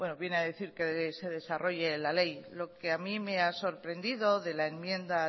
viene a decir que se desarrolle la ley lo que a mí me ha sorprendido de la enmienda